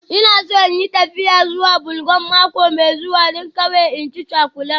Ina so in yi tafiya zuwa Belgium mako mai zuwa, don kawai in ci cakulan